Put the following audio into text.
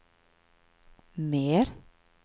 mer